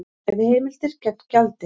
Veiðiheimildir gegn gjaldi